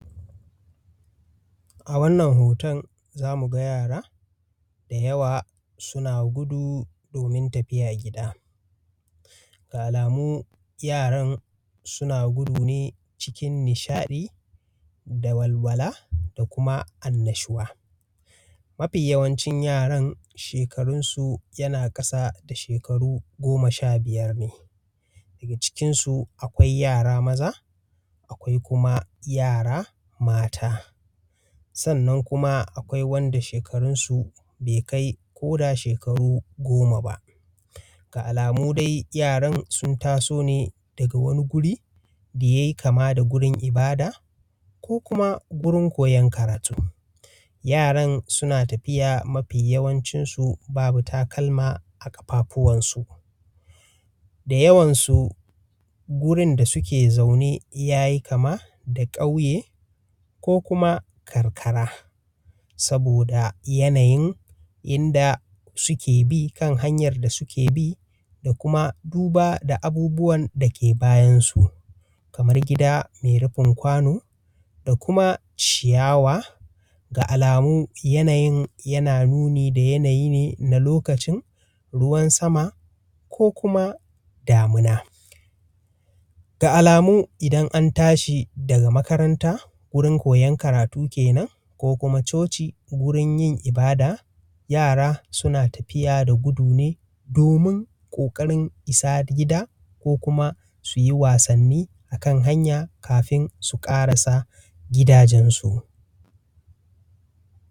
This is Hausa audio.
A wannan hoton za mu ga yara da yawa suna guda domin tafiya gida. Da alama yaran suna gudu ne saboda nishaɗi da walwala da kuma annashuwa. Mafi yawancin yaran shekarunsu yana ƙasa da shekaru goma sha biyar ne, daga cikin su akwai yara maza akeai kuma yara mata. Sannan kuma akwai wanda shekarunsu bai kai ko da shekaru goma ba. Ga alamu dai yaran sun taso ne daga wani guri da ya yi kama da wuri ibada ko kuma wurin koyar karatu. Yaran suna tafiya mafi yawancinsu babu takalma a ƙarfafunsu, da yawansu wurin da suke zaune ya yi kama da kauye ko kuma karkara. Saboda yanayin inda suke binkan hanyar da suke bi da kuma duba da abubuwan da yake bayansu kamar gida mai rufin kwano da kuma ciyawa, da alamu yanyaun yana nuni da yanayi ne na lokacin ruwan sama ko kuma damuna. Ga alamu idan an tashi daga makaranta koyan karatu kenan ko kuma coci wurin ibada yara suna tafiya da gudu ne domin ƙoƙarin isa gida ko kuma su yi wasnni a kan hanya kafin su karasa gidajensu.